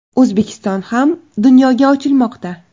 O‘zbekiston ham dunyoga ochilmoqda.